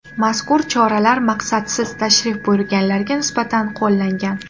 Mazkur choralar maqsadsiz tashrif buyurganlarga nisbatan qo‘llangan.